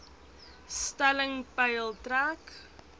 stelling peil trek